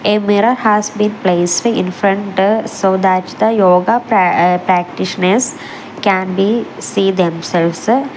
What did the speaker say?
a mirror has been placed infront so that the yoga pra uh practitioners can be see themselves.